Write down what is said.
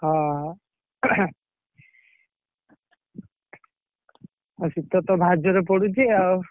ହଁ ବା ଏ ଶୀତ ତ ଭାରି ଜୋରେ ପଡୁଛି ଆଉ।